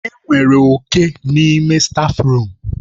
Enwere oke n'ime stáfruum.